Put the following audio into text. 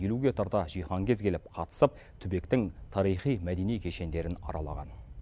елуге тарта жиһанкез келіп қатысып түбектің тарихи мәдени кешендерін аралаған